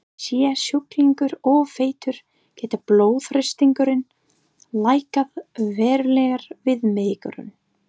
Sé sjúklingur of feitur getur blóðþrýstingurinn lækkað verulega við megrun.